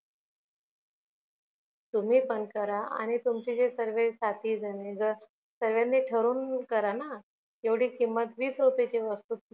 तुम्ही पण करा आणि तुमचे जे सर्व साथी जन सर्वांनी ठरून करा ना जेवढी किंमत वीस रुपयाची वस्तु